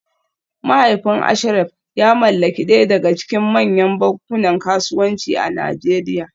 Mahaifin Ashraf ya mallaki daya daga cikin manyan bankunan kasuwanci a Najeriya